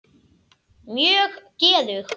Mjög geðug.